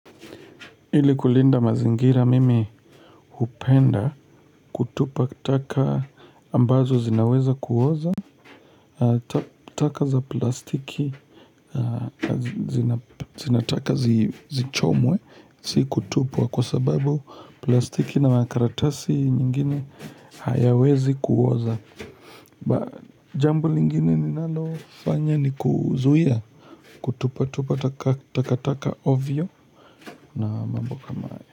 Hili kulinda mazingira mimi upenda kutupa taka ambazo zinaweza kuoza taka za plastiki zinataka zichomwe Si kutupwa kwa sababu plastiki na makaratasi nyingine hayawezi kuoza Jambo lingine ninalo fanya ni kuzuia kutupa tupa takataka ovyo na mambo kama haya.